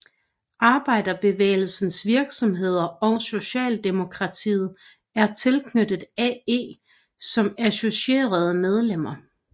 Arbejderbevægelsens virksomheder og Socialdemokratiet er tilknyttet AE som associerede medlemmer